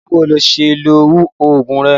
Báwo ni ó ṣe ń lo oògùn rẹ?